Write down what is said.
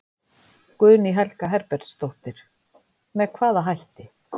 Guðný Helga Herbertsdóttir: Með hvaða hætti?